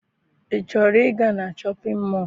I chọrọ ịga na Shọpịn mọọ?